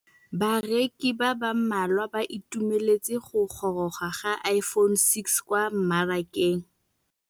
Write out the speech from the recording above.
Bareki ba ba malwa ba ituemeletse go gôrôga ga Iphone6 kwa mmarakeng.